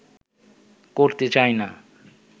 করতে চাই না